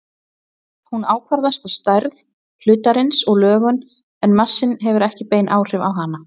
Hún ákvarðast af stærð hlutarins og lögun en massinn hefur ekki bein áhrif á hana.